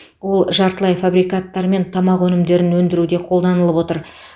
ол жартылай фабрикаттар мен тамақ өнімдерін өндіруде қолданылып отыр